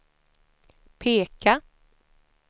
peka